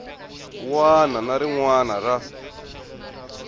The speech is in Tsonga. wana na rin wana ra